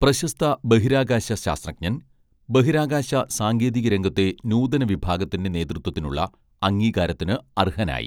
പ്രശസ്ത ബഹിരാകാശ ശാസ്ത്രജ്ഞൻ ബഹിരാകാശ സാങ്കേതിക രംഗത്തെ നൂതന വിഭാഗത്തിന്റെ നേതൃത്വത്തിനുള്ള അംഗീകാരത്തിന് അർഹനായി